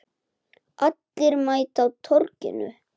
Allir mæta á Torginu